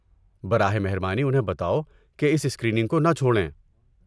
براہ مہربانی انہیں بتاؤ کہ اس اسکریننگ کو نہ چھوڑیں۔